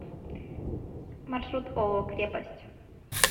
маршрут ооо крепость